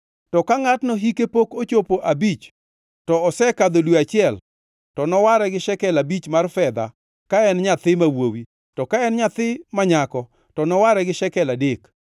To ka ngʼatno hike pok ochopo abich to osekadho dwe achiel, to noware gi shekel abich mar fedha ka en nyathi ma wuowi, to ka en nyako to noware gi shekel adek.